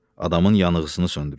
Adamın yanğısını söndürür.